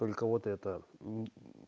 только вот это мм